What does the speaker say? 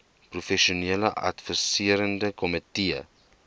professionele adviserende komitee